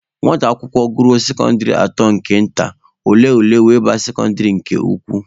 Nwata akwụkwọ gụruo sekọndịrị atọ nke nta, ọ lee ule were baa sekọndịrị nke ukwu.